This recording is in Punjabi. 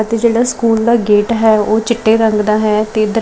ਅਤੇ ਜਿਹੜਾ ਸਕੂਲ ਦਾ ਗੇਟ ਹੈ ਉਹ ਚਿੱਟੇ ਰੰਗ ਦਾ ਹੈ ਤੇ --